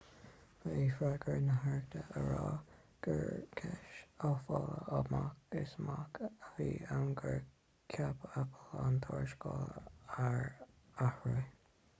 ba é freagra na haireachta a rá gur cúis aiféala amach is amach a bhí ann gur chuir apple an tuarascáil ar atráth